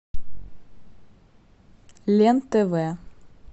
лен тв